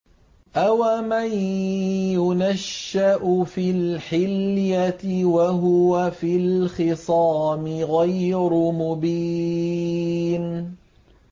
أَوَمَن يُنَشَّأُ فِي الْحِلْيَةِ وَهُوَ فِي الْخِصَامِ غَيْرُ مُبِينٍ